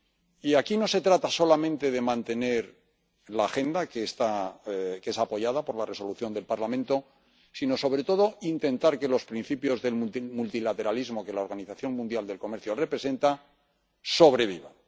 Y aquí no se trata solamente de mantener la agenda, que es apoyada por la Resolución del Parlamento, sino sobre todo de intentar que los principios del multilateralismo que la Organización Mundial del Comercio representa sobrevivan.